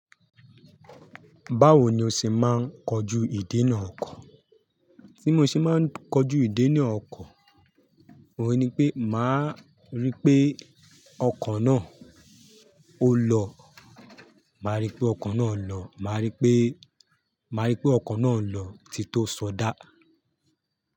Báwo ni o ṣe máa ń kojú ìdènà ọkọ̀? Tí mo ṣe máa ń kojú ìdènà ọkọ̀, òhun ni pé màá rí pé ọkọ̀ náà ó lọ. Màá rí pé ọkọ̀ náà ń lọ. Màá rí pé, màá rí pé ọkọ̀ náà ń lọ tito ṣọdá.